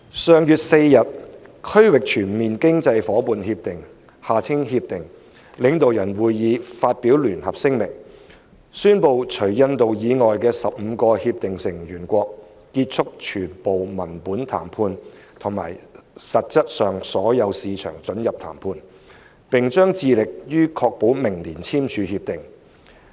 上月4日，《區域全面經濟伙伴協定》領導人會議發表聯合聲明，宣布除印度以外的15個協定成員國結束全部文本談判及實質上所有市場准入談判，並將致力於確保明年簽署《協定》。